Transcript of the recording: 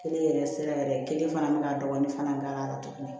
Kelen yɛrɛ sira yɛrɛ kelen fana bɛ ka dɔgɔnin fana k'a la tuguni